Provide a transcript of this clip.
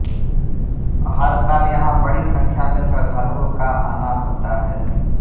हर साल यहां बड़ी संख्या में श्रद्धालुओं का आना होता है